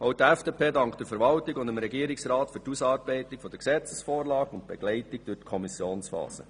Auch die FDP dankt dem Regierungsrat und der Verwaltung für die Ausarbeitung der Gesetzesvorlage und die Begleitung durch die Kommissionsphase.